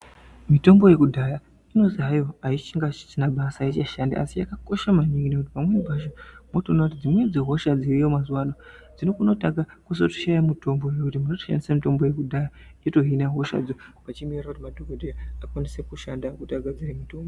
Mitombo yekudhaya inonzi hayo aisiina basa aichashandi asi yakakosha maningi yakakosha maningi ngekuti pamweni pacho unotoona kuti dzimweni dzehosha unokwanisa kushaya mutombo muntu oshandisa yekudhaya yotohina hosha achimurira madhokodheya akwanise kushanda kuti agadzire mitombo.